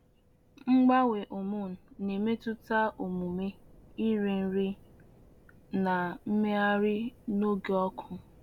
Mgbanwe hormone na-emetụta omume, iri nri, na mmegharị n’oge ọkụ.